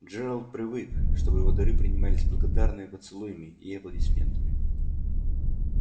джералд привык чтобы его дары принимались с благодарными поцелуями и аплодисментами